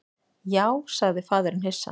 Já, sagði faðirinn hissa.